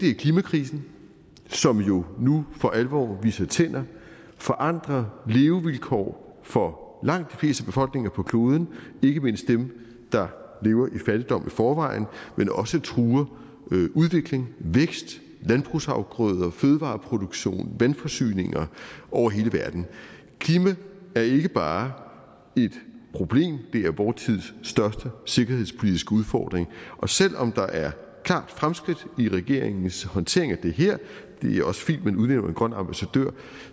er klimakrisen som jo nu for alvor viser tænder og forandrer levevilkår for langt de fleste befolkninger på kloden ikke mindst dem der lever i fattigdom i forvejen men også truer udvikling vækst landbrugsafgrøder fødevareproduktion og vandforsyninger over hele verden klima er ikke bare et problem det er vor tids største sikkerhedspolitiske udfordring og selv om der er klare fremskridt i regeringens håndtering af det her det er også fint at man udnævner en grøn ambassadør